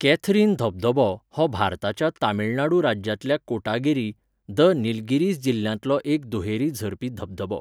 Catherine धबधबो हो भारताच्या तमिळनाडू राज्यांतल्या कोटागिरी, द निलगिरिस जिल्ल्यांतलो एक दुहेरी झरपी धबधबो.